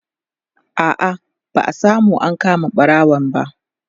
a'a ba'a samu an kama ɓarawon ba